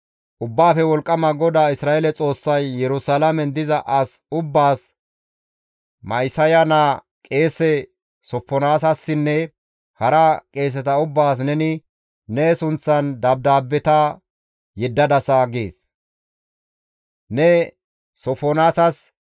«Ubbaafe Wolqqama GODAA Isra7eele Xoossay, ‹Yerusalaamen diza as ubbaas, Ma7isaya naa qeese Sofonaasassinne hara qeeseta ubbaas neni ne sunththan dabdaabbeta yeddadasa› gees. Ne Sofonaasas,